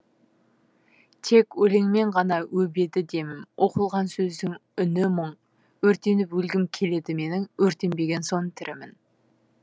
тек өлеңмен ғана өбеді демім оқылған сөздің үні мұң өртеніп өлгім келеді менің өртенбеген соң тірімін